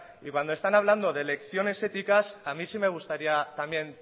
y cuando están hablando de lecciones éticas a mí sí me gustaría también